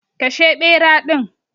Kashe bera din.